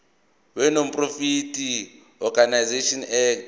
wenonprofit organisations act